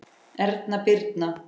Erna Birna.